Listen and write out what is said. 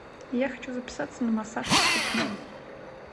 я хочу записаться на массаж ступней